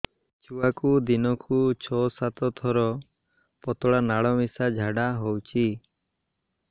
ଛୁଆକୁ ଦିନକୁ ଛଅ ସାତ ଥର ପତଳା ନାଳ ମିଶା ଝାଡ଼ା ହଉଚି